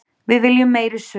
Við viljum meiri sögu.